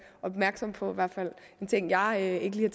opmærksom på en ting jeg ikke lige